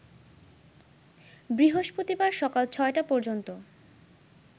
বৃহস্পতিবার সকাল ৬টা পর্যন্ত